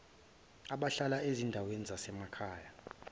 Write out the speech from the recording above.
abahlala ezindaweni zasemakhaya